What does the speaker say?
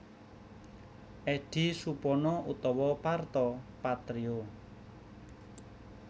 Eddy Supono utawa Parto Patrio